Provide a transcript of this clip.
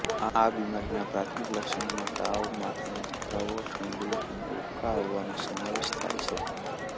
આ બીમારીના પ્રાથમિક લક્ષણોમાં તાવ માથાનો દુખાવો ઠંડી અને ઉબકા આવવાનો સમાવેશ થાય છે